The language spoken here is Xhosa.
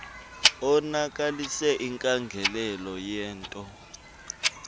onakalise inkangeleko yento